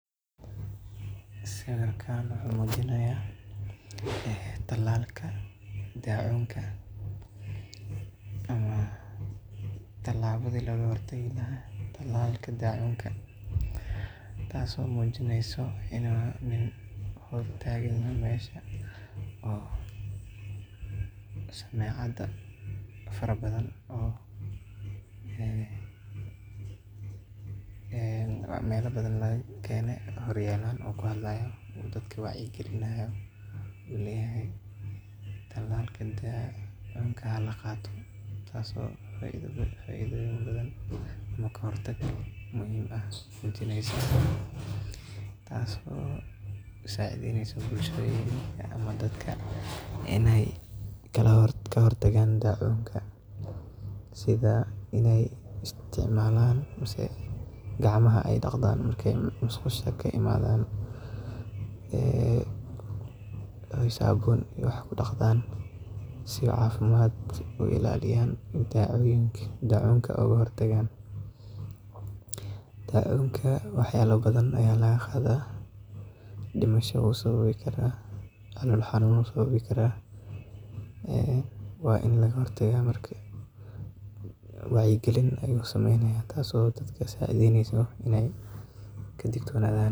Sawirkan wuxuu muujinayaa wacyigelin caafimaad oo la xiriirta tallaalka daacuunka. Waxaa sawirka ka muuqda nin hortiisa taagan dad badan oo dhageysanaya, isagoo isticmaalaya makarafoon si uu dadka ugu sheego muhiimadda ay leedahay in la qaato tallaalka ka hortagga daacuunka. Waxaa sidoo kale sawirka ka muuqda calaamado iyo agabyo wacyigelin ah oo ka tarjumaya fariimaha caafimaadka. Ninkan wuxuu bulshada ku baraarujinayaa in tallaalka daacuunka uu faa’iido weyn leeyahay, islamarkaana uu yahay mid muhiim u ah badbaadada bulshada. Waxa uu carabka ku adkeeyay in tallaalka uu ka hortago daacuunka, oo ah cudur faafa oo halis ah, sababi karana dhimasho iyo xanuun daran sida calool-fadhiga iyo shuban biyoodka. Wuxuu sidoo kale dadka ku dhiirrigelinayaa inay ku dadaalaan nadaafadda, gaar ahaan inay si wanaagsan u dhaqaan gacmaha kadib marka ay musqusha ka soo baxaan, iyagoo adeegsanaya saabuun iyo biyo nadiif ah. Tani waxay qayb ka tahay tallaabooyinka lagaga hortago faafitaanka cudurka. Daacuunka wuxuu sababi karaa xaalado caafimaad oo daran iyo xitaa dhimasho ama calol xanun Sidaa darteed, wacyigelintani waxay door muhiim ah ka ciyaaraysaa ka hortagga cudurka itaas oo ka dhigayso datka in aay ka digtonadhan .